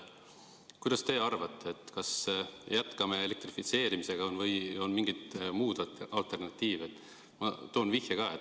Mis teie arvate, kas jätkame elektrifitseerimisega või on mingeid muid alternatiive?